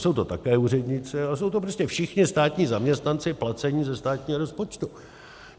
Jsou to také úředníci, ale jsou to prostě všichni státní zaměstnanci placení ze státního rozpočtu.